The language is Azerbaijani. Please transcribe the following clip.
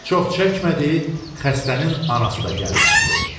Çox çəkmədi, xəstənin anası da gəlib çıxdı.